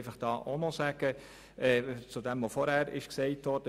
Und ich möchte noch auf das antworten, was vorhin angesprochen wurde: